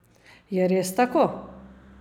Je res tako?